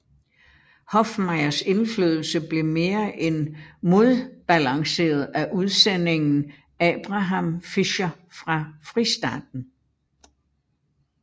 Hofmeyrs indflydelse blev mere end modbalanseret af udsendingen Abraham Fischer fra Fristaten